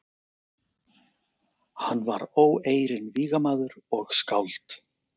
Hann var óeirinn vígamaður og skáld.